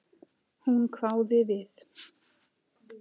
Hún hváði við.